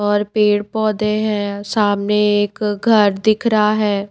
और पेड़ पौधे हैं सामने एक घर दिख रहा है।